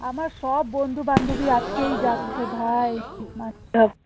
আমার সব বন্ধু বান্ধবী আজকেই যাচ্ছে ভাই